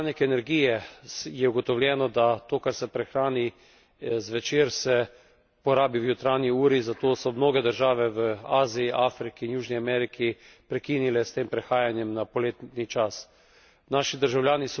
Tudi prihranek energije je ugotovljeno, da to kar se prihrani zvečer se porabi v jutranji uri, zato so mnoge države v Aziji, Afriki in Južni Ameriki prekinile s tem prehajanjem na poletni čas.